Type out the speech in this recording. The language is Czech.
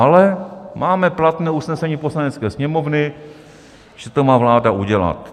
Ale máme platné usnesení Poslanecké sněmovny, že to má vláda udělat.